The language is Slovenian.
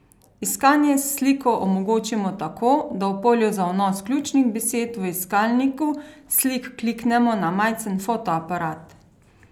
Iskanje s sliko omogočimo tako, da v polju za vnos ključnih besed v iskalniku slik kliknemo na majcen fotoaparat.